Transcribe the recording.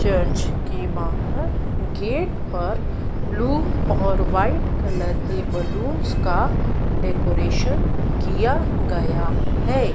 Church के बाहर gate पर ब्लू और वाइट कलर के बलून्स का डेकोरेशन किया गया है।